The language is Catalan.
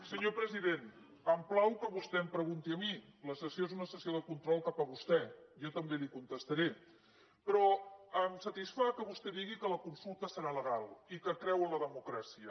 senyor president em plau que vostè em pregunti a mi la sessió és una sessió de control cap a vostè jo també li contestaré però em satisfà que vostè digui que la consulta serà legal i que creu en la democràcia